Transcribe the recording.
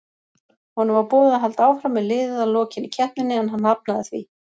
Honum var boðið að halda áfram með liðið að lokinni keppninni en hann hafnaði því.